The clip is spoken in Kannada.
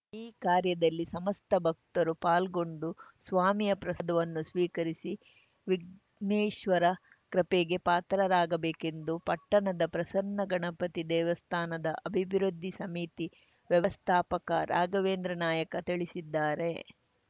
ಈ ಕಾರ್ಯದಲ್ಲಿ ಸಮಸ್ತ ಭಕ್ತರು ಪಾಲ್ಗೊಂಡು ಸ್ವಾಮಿಯ ಪ್ರಸಾವನ್ನು ಸ್ವೀಕರಿಸಿ ವಿಘ್ನೇಶ್ವರ ಕೃಪೆಗೆ ಪಾತ್ರರಾಗಬೇಕೆಂದು ಪಟ್ಟಣದ ಪ್ರಸನ್ನ ಗಣಪತಿ ದೇವಸ್ಥಾನದ ಅಭಿವೃದ್ಧಿ ಸಮಿತಿ ವ್ಯವಸ್ಥಾಪಕ ರಾಘವೇಂದ್ರ ನಾಯಕ ತಿಳಿಸಿದ್ದಾರೆ